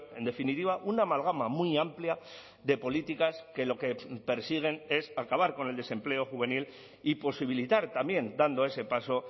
en definitiva una amalgama muy amplia de políticas que lo que persiguen es acabar con el desempleo juvenil y posibilitar también dando ese paso